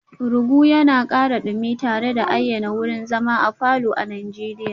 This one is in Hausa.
Rugu yana ƙara dumi tare da ayyana wurin zama a falor na Najeriya